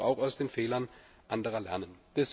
Wir sollten doch auch aus den Fehlern anderer lernen.